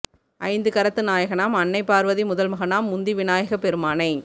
ஐந்து கரத்து நாயகனாம் அன்னை பார்வதி முதல்மகனாம் முந்தி விநாயகப் பெருமானை